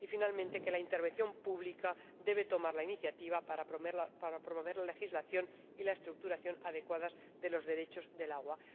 y, finalmente, que la intervención pública debe tomar la iniciativa para promover la legislación y la estructuración adecuadas de los derechos del agua.